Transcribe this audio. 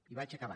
i vaig acabant